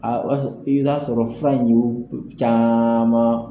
I b'a sɔrɔ i bɛ t'a sɔrɔ fura caman